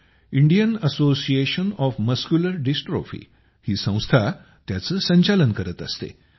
Indian Association of Muscular Dystrophy ही संस्था त्याचं संचालन करत असते